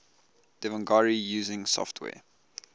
devanagari using software